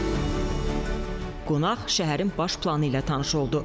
Füzuli şəhərinin ümumi sahəsi təxminən 1942 hektardır.